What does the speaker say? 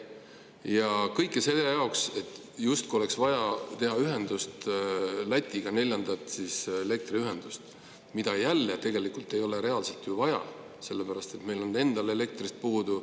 Ja kõik selle jaoks, et justkui oleks vaja teha ühendust Lätiga, neljandat elektriühendust, mida reaalselt ei ole ju vaja, sellepärast et meil on endal elektrit puudu.